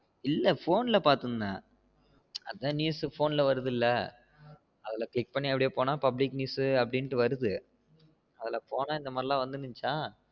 இல்ல phone ல பாத்திருந்தேன் அதான் news phone ல வருதுல்ல அதுள்ள click பண்ணி அப்டி போன public news னு வருது அதுல இந்த மாறி எல்லாம் வந்திருந்துச்சா